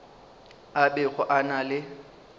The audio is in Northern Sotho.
a bego a na le